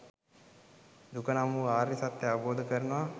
දුක නම් වූ ආර්ය සත්‍යය අවබෝධ කරනවා